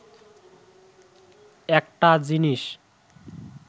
একটা জিনিস